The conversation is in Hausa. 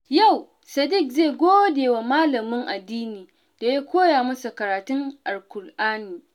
Yau, Sadik zai gode wa malamin addini da ya koya masa karatun Alƙur'ani.